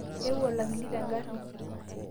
eewuo olakili tengarri